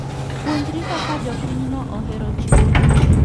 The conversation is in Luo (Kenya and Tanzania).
Puonjri kaka jopinyno ohero chiwo mich.